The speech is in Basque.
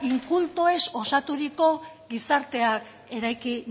inkultoez osaturiko gizarteak eraiki